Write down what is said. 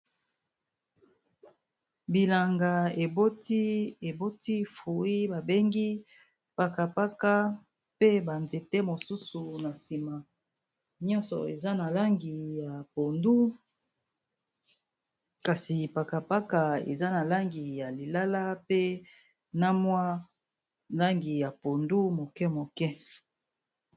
Bilanga eboti fruit ba bengi paka paka pe ba nzete mosusu na nsima nyonso eza na langi ya pondu kasi paka paka eza na langi ya lilala pe na mwa langi ya pondu moke moke.